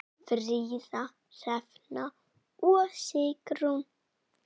Fríða, Hrefna og Sigrún.